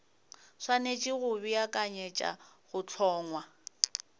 swanetše go beakanyetša go hlongwa